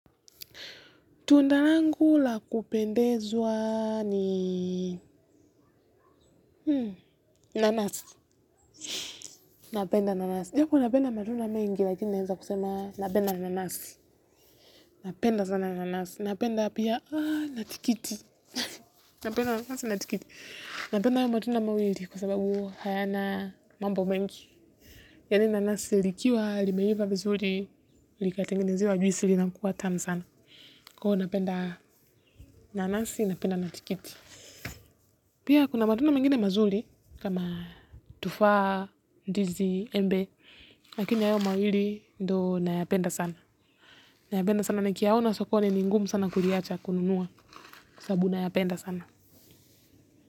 Tunda langu la kupendezwa ni nanasi, napenda nanasi. Japo napenda matunda mengi, lakini naeza kusema napenda nanasi, napenda sana nanasi. Napenda pia na tikiti, napenda nanasi na tikiti. Napenda hayo matunda mawili kwa sababu hayana mambo mengi. Yani nanasi likiwa, limeiva vizuri, likatengenezewa juisi linakuwa tamu sana. Kwa hiyo napenda nanasi, napenda na tikiti. Pia kuna matunda mengine mazuri kama tufaa ndizi embe. Lakini hayo mawili ndo nayapenda sana. Nayapenda sana nikiyaona sokoni ni ngumu sana kuliacha kununuwa sababu nayapenda sana.